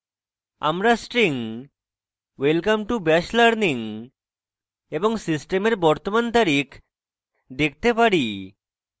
আমরা string welcome to bash learning এবং সিস্টেমের বর্তমান তারিখ দেখতে পারি